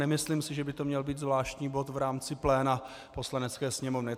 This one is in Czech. Nemyslím si, že by to měl být zvláštní bod v rámci pléna Poslanecké sněmovny.